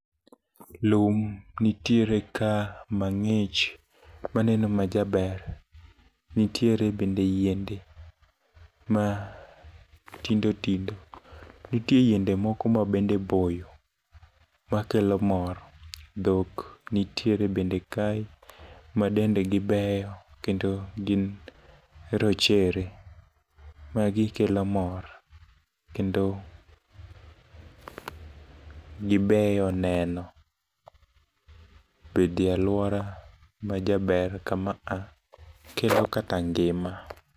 Lum nitiere ka mang'ich maneno majaber, nitiere bende yiende ma tindo tindo. Nitie yiende moko mabende boyo, makelo mor. Dhok nitiere bende kae ma dendegi beyo kendo gin rochere. Magi kelo mor. Kendo gibeyo neno, bedie alwora majaber kama a kelo kata ngima.